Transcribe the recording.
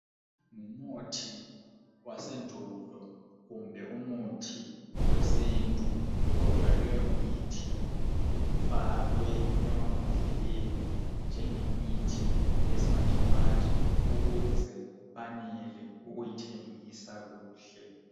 Umuthi wasendulo kumbe umuthi wesintu kodwa leyo mithi ifakwe emambodleni njengemithi yesimanje manje ukuze anele ukuyithengisa kuhle.